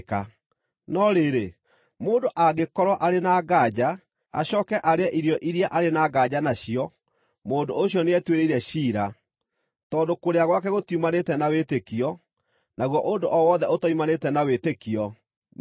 No rĩrĩ, mũndũ angĩkorwo arĩ na nganja, acooke arĩe irio iria arĩ na nganja nacio, mũndũ ũcio nĩetuĩrĩire ciira, tondũ kũrĩa gwake gũtiumanĩte na wĩtĩkio; naguo ũndũ o wothe ũtoimanĩte na wĩtĩkio nĩ mehia.